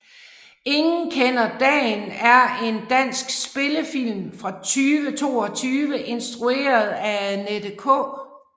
Ingen kender dagen er en dansk spillefilm fra 2022 instrueret af Annette K